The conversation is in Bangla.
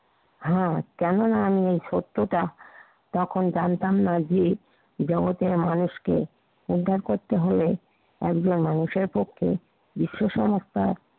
হ্যা। কেননা, আমি এ সত্যটা তখন জানতাম না যে, জগতের মানুষকে উদ্ধার করতে হলে একজন মানুষের পক্ষে বিশ্বাস অবস্থায়